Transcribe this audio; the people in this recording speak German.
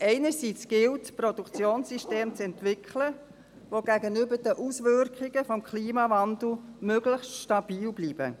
Einerseits gilt es, ein Produktionssystem zu entwickeln, welches gegenüber den Auswirkungen des Klimawandels möglichst stabil bleibt.